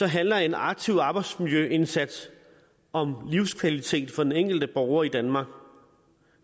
handler en aktiv arbejdsmiljøindsats om livskvalitet for den enkelte borger i danmark